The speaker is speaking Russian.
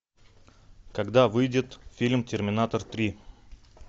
когда выйдет фильм терминатор три